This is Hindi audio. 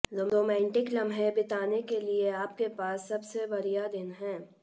रोमांटिक लम्हें बिताने के लिए आपके पास सबसे बढ़िया दिन है